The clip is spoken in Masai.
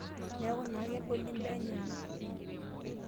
Niaku naa kegoli imbaa enyenak.